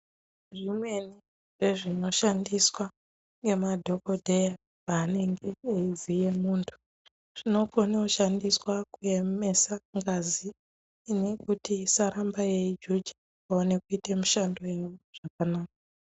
Zvimweni zvezvinoshandiswa ngemadhogodheya paanenge eivhiye muntu zvinokone kushandiswa kuemesa ngazi kuti isarambe yeijuja vaone kuita mishando yavo zvakanaka.